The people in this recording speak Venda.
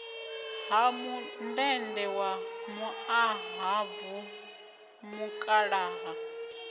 ha mundende wa muṱahabvu mukalaha